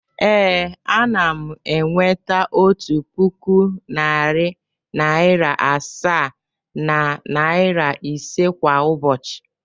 Ee, ana m enweta otu puku, narị naịra asaa na naịra ise kwa ụbọchị.